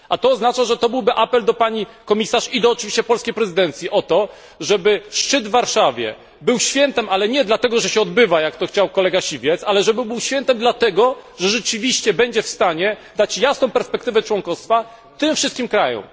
A to oznacza, że to byłby apel do pani Komisarz i oczywiście do polskiej prezydencji, o to, żeby szczyt w Warszawie był świętem, ale nie dlatego, że się odbywa, jak to chciał kolega Siwiec, ale żeby był świętem dlatego, że rzeczywiście będzie w stanie dać jasną perspektywę członkostwa tym wszystkim krajom.